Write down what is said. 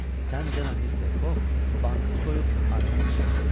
Sən demə Mister Fog bankı soyub aradan çıxıbmış.